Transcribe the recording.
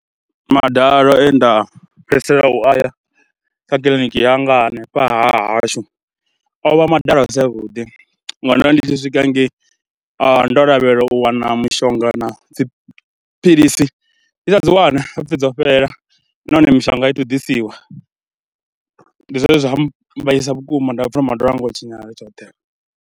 Madalo e nda fhedzisela u aya kha kiḽiniki ya nga hanefha ha hashu o vha madalo a si avhuḓi ngori ndo ri ndi tshi swika hangei ndo lavhelela u wana mishonga na dziphilisi, ndi sa dzi wane ha pfhi dzo fhela nahone mishonga a i athu ḓisiwa. Ndi zwone zwa mmbaisa vhukuma nda pfha madalo anga o tshinyala tshoṱhe.